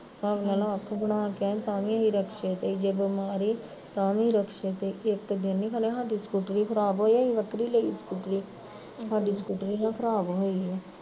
ਹਿਸਾਬ ਲਾਲਾ ਜੇ ਬਣਾ ਕੇ ਆਏ ਤਾਂ ਵੀ ਅਸੀਂ ਰਿਕਸ਼ੇ ਤੇ ਈ ਤੇ ਜੇ ਦਵਾਈ ਲੈਣ ਜਾਣਾ ਤਾਂ ਵੀ ਰਿਕਸ਼ੇ ਤੇ ਈ ਇੱਕ ਦਿਨ ਸਾਡੀ ਸਕੂਤਰੀ ਖਰਾਬ ਹੋਈ ਅਸੀਂ ਵੱਖਰੀ ਲਈ ਸਕੂਤਰੀ ਸਾਡੀ ਸਕੂਟਰੀ ਨਾ ਖਰਾਬ ਹੋਈ ਓ